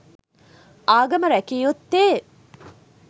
ආගම රැකිය යුත්තේ